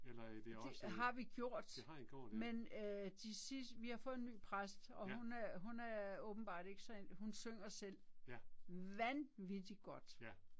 Det har vi gjort. Men øh de vi har fået en ny præst og hun øh hun er åbenbart ikke så, hun synger selv vanvittig godt.